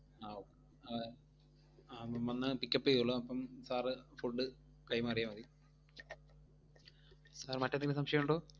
ആഹ് ആഹ് അവൻ വന്ന് pick up ചെയ്‌തോളും, അപ്പം sir food കൈമാറിയാമതി. sir മറ്റെന്തെങ്കിലും സംശയമുണ്ടോ?